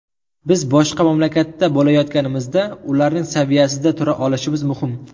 Biz boshqa mamlakatda bo‘layotganimizda, ularning saviyasida tura olishimiz muhim.